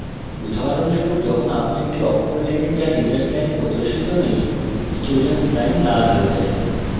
উদাহরণস্বরূপ যখন আপনি একটি অক্ষর লেখেন যা teachers line প্রদর্শিত নেই student line লাল হয়ে যায়